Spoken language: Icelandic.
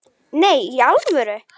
Nei, í alvöru